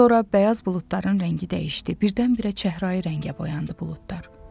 Sonra bəyaz buludların rəngi dəyişdi, birdən-birə çəhrayı rəngə boyandı buludlar.